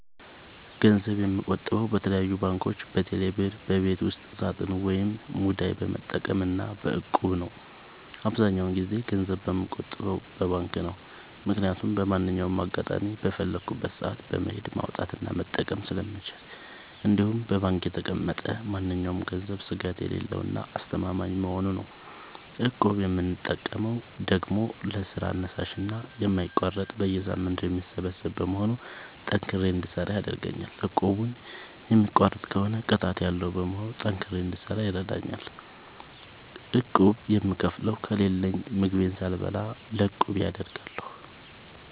ገንዘብ የምቆጥበው በተለያዩ ባንኮች÷በቴሌ ብር ÷በቤት ውስጥ ሳጥን ወይም ሙዳይ በመጠቀም እና በ እቁብ ነው። አብዛኛውን ጊዜ ገንዘብ የምቆጥበው በባንክ ነው። ምክያቱም በማንኛውም አጋጣሚ በፈለኩት ሰአት በመሄድ ማውጣት እና መጠቀም ስለምችል እንዲሁም በባንክ የተቀመጠ ማንኛውም ገንዘብ ስጋት የሌለው እና አስተማማኝ በመሆኑ ነው። እቁብ የምጠቀመው ደግሞ ለስራ አነሳሽና የማይቋረጥ በየሳምንቱ የሚሰበሰብ በመሆኑ ጠንክሬ እንድሰራ ያደርገኛል። እቁቡን የሚቋርጥ ከሆነ ቅጣት ያለዉ በመሆኑ ጠንክሬ እንድሰራ ይረደኛል። ቁብ የምከፍለው ከሌለኝ ምግቤን ሳልበላ ለቁቤ አደርጋለሁ።